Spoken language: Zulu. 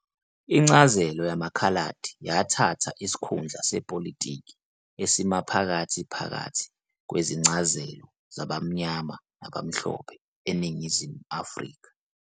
Incazelo yamaKhaladi yathatha isikhundla sepolitiki esimaphakathi phakathi kwezincazelo zabaMnyama nabaMhlophe eNingizimu Afrika.